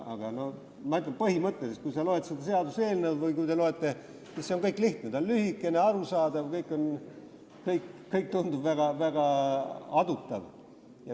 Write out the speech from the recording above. Ma ütlen, et põhimõtteliselt, kui sa seda seaduseelnõu loed või kui te loete, siis on kõik lihtne – ta on lühikene, arusaadav, kõik tundub täiesti adutav.